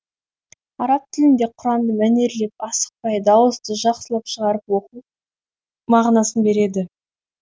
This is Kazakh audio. араб тілінде құранды мәнерлеп асықпай дауысты жақсылап шығарып оқу мағынасын береді